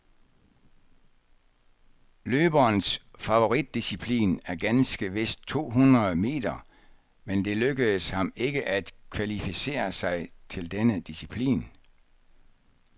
Løberens favoritdisciplin er ganske vist to hundrede meter, men det lykkedes ham ikke at kvalificere sig til denne disciplin.